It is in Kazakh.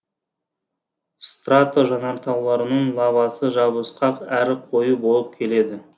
страто жанартауларының лавасы жабысқақ әрі қою болып келеді